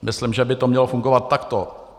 Myslím, že by to mělo fungovat takto.